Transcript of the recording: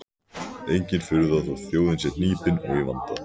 Engin furða þótt þjóðin sé hnípin og í vanda.